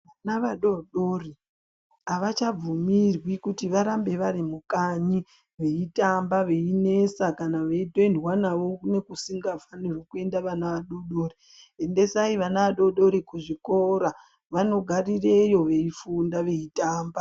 Vana vadodori havachabvumirwi kuti varambe vari mukanyi veitamba veinesa kana veitoendwa navo nekusingafaniri kuendwa nevana vadodori. Endesai vana vadodori kuzvikora vanogarireyo veifunda veitamba.